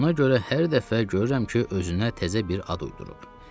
Buna görə hər dəfə görürəm ki, özünə təzə bir ad uydurub.